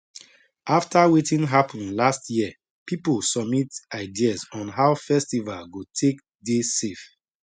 after wetin happen last year people submit ideas on how festival go take dey safe